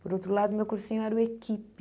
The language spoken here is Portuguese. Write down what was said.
Por outro lado, meu cursinho era o equipe.